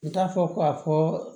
I t'a fɔ ko a fɔ